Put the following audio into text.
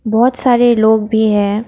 बहुत सारे लोग भी हैं।